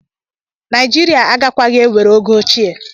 Nàìjíríà agakwaghị ewere ego ochie.